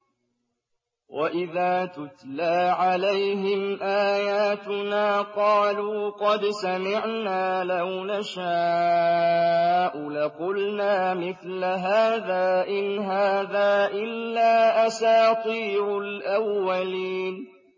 وَإِذَا تُتْلَىٰ عَلَيْهِمْ آيَاتُنَا قَالُوا قَدْ سَمِعْنَا لَوْ نَشَاءُ لَقُلْنَا مِثْلَ هَٰذَا ۙ إِنْ هَٰذَا إِلَّا أَسَاطِيرُ الْأَوَّلِينَ